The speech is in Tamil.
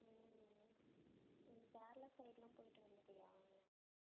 உம் நீ கேரளா side எல்லாம் போயிட்டு வந்துட்டியா